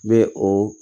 N bɛ o